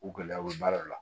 U gɛlɛyaw bɛ baaraw la